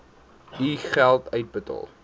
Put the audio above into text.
u geld uitbetaal